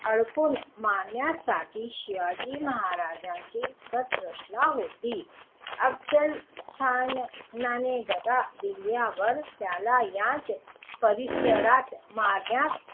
अडकून मारण्यासाठी शिवाजी महाराज्यांनी कट रचला होता. अफझलखानने दगा दिल्यावर त्याला याच परिसरात मारण्यात,